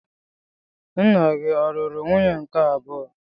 Nna gị ọ̀ lụrụ nwunye nke abụọ?